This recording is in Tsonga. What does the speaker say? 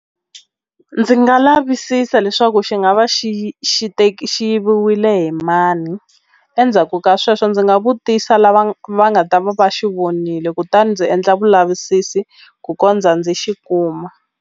Ndzi nga lavisisa leswaku xi nga va xi xi xi wile hi mani endzhaku ka sweswo ndzi nga vutisa lava va nga ta va xi vonile kutani ndzi endla vulavisisi ku kondza ndzi xi kuma.